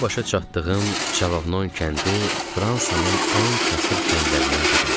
Boya-başa çatdığım Çavanon kəndi Fransanın ən kasıb kəndlərindən biri idi.